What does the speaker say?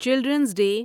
children's day